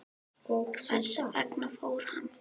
Hvers vegna fór hann?